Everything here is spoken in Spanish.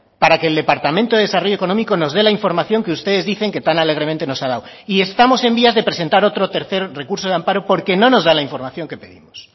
para que el departamento de desarrollo económico nos dé la información que ustedes dicen que tan alegremente nos ha dado y estamos en vías de presentar otro tercer recurso de amparo porque no nos da la información que pedimos